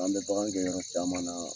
An bɛ bagan gɛn yɔrɔ caman na